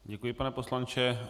Děkuji, pane poslanče.